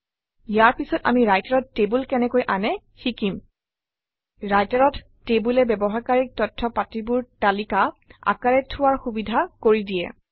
ইয়াৰ পিছত আমি Writer অত টেবুল কেনেকৈ আনে শিকিম Writer অত টেবুলে ব্যৱহাৰকাৰীক তথ্যপাতিবোৰ তালিকা আকাৰে থোৱাৰ সুবিধা কৰি দিয়ে